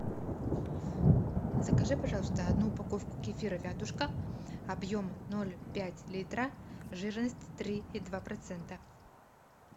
закажи пожалуйста одну упаковку кефира вятушка объем ноль пять литра жирность три и два процента